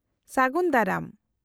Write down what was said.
-ᱥᱟᱹᱜᱩᱱ ᱫᱟᱨᱟᱢ ᱾